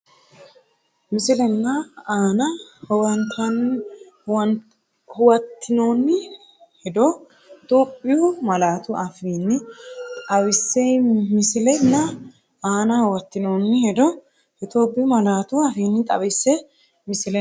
Misile nna aana huwattinoonni hedo Itophiyu malaatu afiinni xawisse Misile nna aana huwattinoonni hedo Itophiyu malaatu afiinni xawisse Misile nna.